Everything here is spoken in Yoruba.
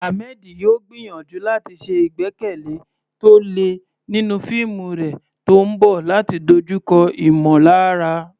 Ahmed yóò gbìyànjú láti ṣe àgbékalẹ̀ tó le nínú fíìmù rẹ̀ tó ń bọ̀ láti dojúkọ ìmọ̀lára.